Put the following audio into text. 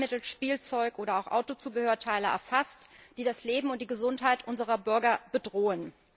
Arzneimittel, Spielzeug oder Autozubehörteile, erfasst, die das Leben und die Gesundheit unserer Bürger bedrohen.